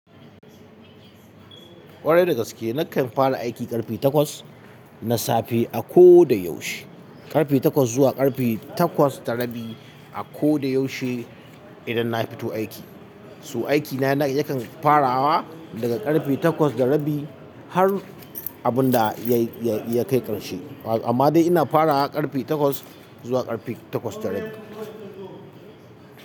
Kwarai dagaske nakan fara aiki karfe takwas na safe a koda yaushe, karfe takwas zuwa karfe takwas da rabi a koda yaushe idan na fito aiki. So aikina yakan farawa daga karfe takwas da rabi har abun da ya kai karshe. Amma dai ina farawa karfe takwas zuwa karfe takwas da rabi.